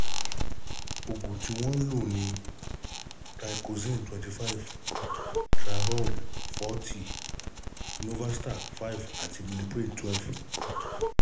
Oògùn tí wọ́n ń lò ni Thyroxin25, Tazloc40, Novastat5 àti Minipressxl2